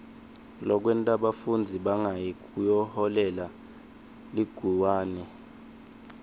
lokwenta bafundzi bangayi kuyoholela liguwane